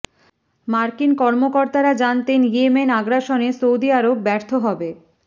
মার্কিন কর্মকর্তারা জানতেন ইয়েমেন আগ্রাসনে সৌদি আরব ব্যর্থ হবে